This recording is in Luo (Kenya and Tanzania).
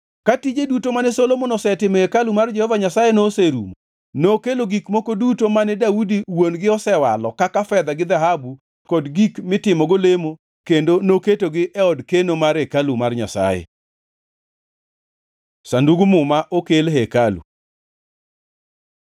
Ka tije duto mane Solomon osetimo e hekalu mar Jehova Nyasaye noserumo, nokelo gik duto mane Daudi wuon-gi osewalo kaka fedha gi dhahabu kod gik mitimogo lemo kendo noketogi e od keno mar hekalu mar Nyasaye. Sandug Muma okel e hekalu